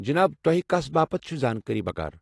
جناب ،توہہِ كس باپت چھوٕ زانکٲری بکار؟